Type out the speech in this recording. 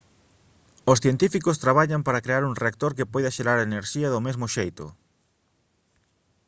os científicos traballan para crear un reactor que poida xerar enerxía do mesmo xeito